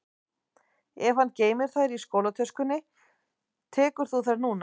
Ef hann geymir þær í skólatöskunni sinni tekur þú þær núna